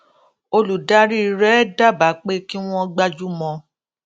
olùdarí rẹ dábàá pé kí wọn gbájú mọ